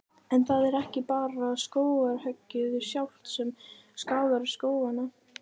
En það er ekki bara skógarhöggið sjálft sem skaðar skógana.